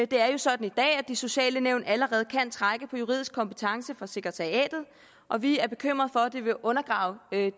det er jo sådan i dag at de sociale nævn allerede kan trække på juridisk kompetence fra sekretariatet og vi er bekymret for at det vil undergrave det